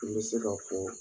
I bɛ se ka fɔ